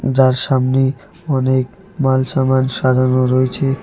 যার সামনে অনেক মাল সামান সাজানো রয়েছে।